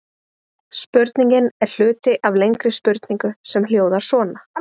Spurningin er hluti af lengri spurningu sem hljóðar svona: